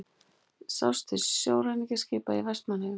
Sést til ræningjaskipa í Vestmannaeyjum.